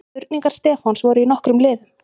Spurningar Stefáns voru í nokkrum liðum.